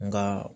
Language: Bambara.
Nka